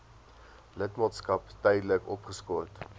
lidmaatskap tydelik opgeskort